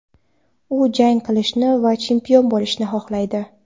U jang qilishni va chempion bo‘lishni xohlaydi.